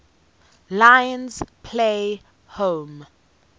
lions play home